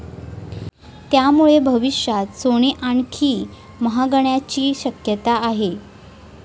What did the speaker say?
त्यामुळे भविष्यात सोने आणखी महागण्याची शक्यता आहे.